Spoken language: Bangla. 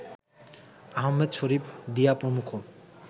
আহমেদ শরীফ, দিয়া প্রমুখ